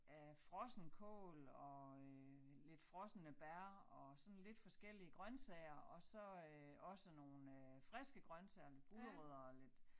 Af frossen kål og øh lidt frosne bær og sådan lidt forskellige grøntsager og så øh også nogle øh friske grøntsager lidt gulerødder og lidt